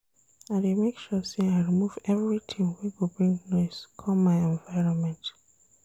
I dey make sure sey I remove everytin wey go bring noise come my environment.